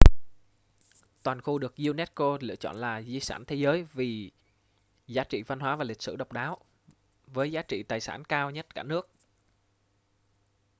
toàn khu được unesco lựa chọn là di sản thế giới vì giá trị văn hóa và lịch sử độc đáo với giá trị tài sản cao nhất cả nước